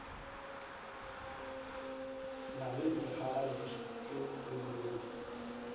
na le megalantšu e mebedi